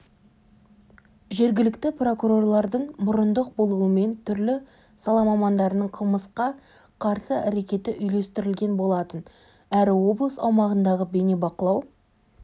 жергілікті прокурорлардың мұрындық болуымен түрлі сала мамандарының қылмысқа қарсы әрекеті үйлестірілген болатын әрі облыс аумағындағы бейнебақылау